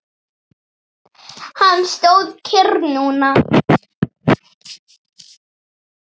Hann stóð kyrr núna.